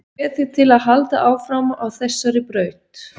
Ég hvet þig til að halda áfram á þessari braut.